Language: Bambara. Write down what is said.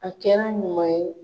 A kɛra ɲuman ye